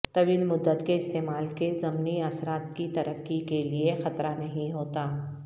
طویل مدت کے استعمال کے ضمنی اثرات کی ترقی کے لئے خطرہ نہیں ہوتا